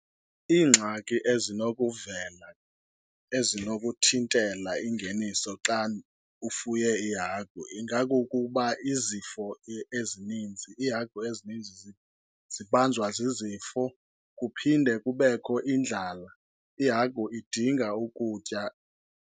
Iingxaki ezinokuvela ezinokuthintela ingeniso xa ufuye iihagu ingakukuba izifo ezininzi, iihagu ezininzi zibanjwa zizifo kuphinde kubekho indlala. Ihagu idinga ukutya.